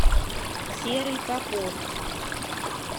серый попов